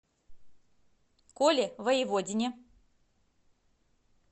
коле воеводине